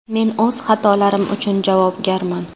Men o‘z xatolarim uchun javobgarman.